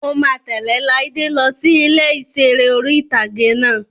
Mo máa tẹ̀lẹ́ Láídé lọ sí ilé ìseré orí-ìtágé náà